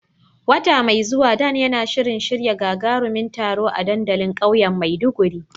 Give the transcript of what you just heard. Wata mai zuwa, Dan yana shirin shirya gagarumin taro a dandalin kauyen Maiduguri.